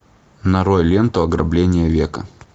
нарой ленту ограбление века